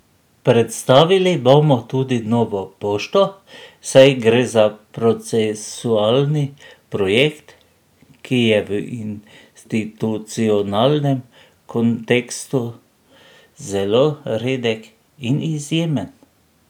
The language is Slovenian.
Predstavili bomo tudi Novo pošto, saj gre za procesualni projekt, ki je v institucionalnem kontekstu zelo redek in izjemen.